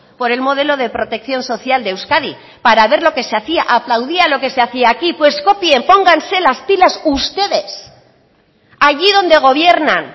por el modelo de protección social de euskadi para ver lo que se hacía aplaudía lo que se hacía aquí pues copien pónganse las pilas ustedes allí donde gobiernan